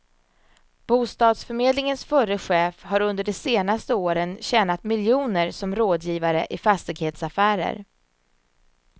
Bostadsförmedlingens förre chef har under de senaste åren tjänat miljoner som rådgivare i fastighetsaffärer.